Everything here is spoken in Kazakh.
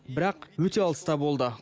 бірақ өте алыста болды